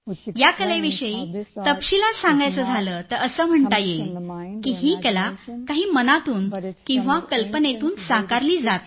या कलेविषयी तपशीलात सांगायचं झालं तर असं म्हणता येईल की ही कला काही मनातून किंवा कल्पनेतून साकारली जात नाही